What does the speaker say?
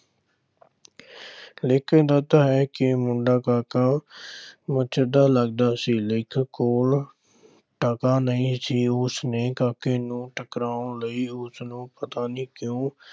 ਲੇਖਕ ਦੱਸਦਾ ਹੈ ਕਿ ਮੁੰਡਾ ਕਾਕਾ ਮੱਛਰ ਦਾ ਲੱਗਦਾ ਸੀ ਲੇਖਕ ਕੋਲ ਟਕਾ ਨਹੀਂ ਸੀ, ਉਸ ਨੇ ਕਾਕੇ ਨੂੰ ਟਕਾਉਣ ਲਈ ਉਸਨੂੰ ਪਤਾ ਨੀ ਕਿਉਂ